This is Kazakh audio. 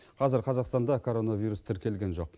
қазір қазақстанда коронавирус тіркелген жоқ